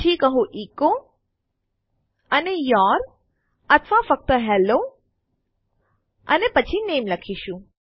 પછી કહો એચો અને યૂર અથવા ફક્ત હેલ્લો અને પછી નામે લખીશું